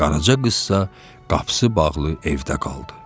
Qaraca qızsa qapısı bağlı evdə qaldı.